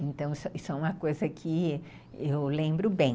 Então, isso isso é uma coisa que eu lembro bem.